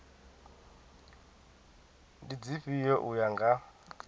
ndi dzifhio u ya nga